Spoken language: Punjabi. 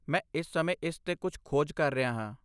ਮੈਂ ਇਸ ਸਮੇਂ ਇਸ 'ਤੇ ਕੁਝ ਖੋਜ ਕਰ ਰਿਹਾ ਹਾਂ।